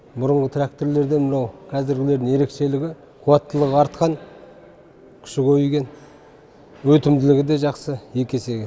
бұрынғы тракторларден мынау қазіргілердің ерекшелігі қуаттылығы артқан күші көбейген өтімділігі де жақсы екі есеге